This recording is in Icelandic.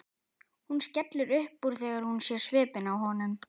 Hún skellir upp úr þegar hún sér svipinn á honum.